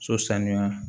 So sanuya